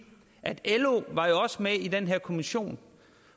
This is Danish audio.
at lo var med i den her kommission